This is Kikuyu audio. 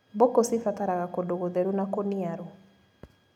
Mbũkũ cibataraga kũndũ gũtheru na kũniaru.